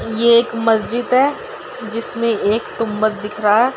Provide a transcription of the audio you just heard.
ये एक मस्जिद है जिसमें एक तुंबद दिख रहा है।